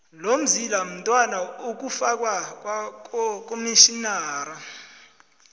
lolzila mnwana ikufakwa kwakomtjhinara